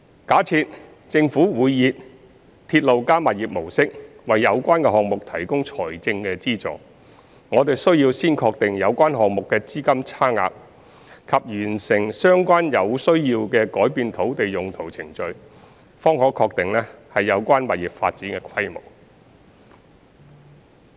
假設政府會以"鐵路加物業"模式為有關項目提供財政資助，我們需要先確定有關項目的資金差額及完成相關有需要的改變土地用途程序，方可確定有關物業發展的規模。